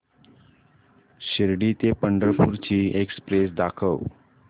शिर्डी ते पंढरपूर ची एक्स्प्रेस दाखव